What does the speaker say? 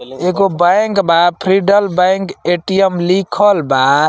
एगो बैंक बा Federal bank ATM. लिखल बा।